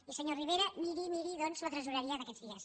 i senyor rivera miri miri doncs la tresoreria d’aquests dies